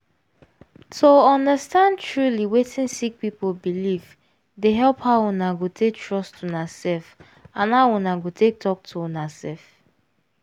to understand truely wetin sick people belief dey help how una go take trust una self and how una go take talk to una self.